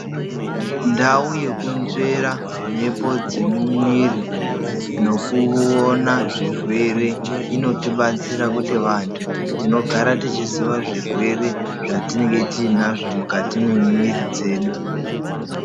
Ndau yekunzvera mhepo dzemumwiri nekuona zvirwere inotibatsira kuti vantu tinogara techiziva zvirwere zvatinenge tiinazvo mukati memwiri dzedu.